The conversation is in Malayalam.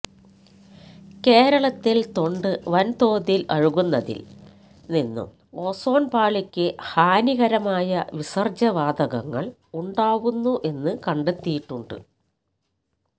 കേരളത്തില് തൊണ്ട് വന് തോതില് അഴുക്കുന്നതില് നിന്നും ഓസോണ് പാളിക്ക് ഹാനികരമായ വിസര്ജ്ജ്യ വാതകങ്ങള് ഉണ്ടാവുന്നു എന്ന് കണ്ടെത്തിയിട്ടുണ്ട്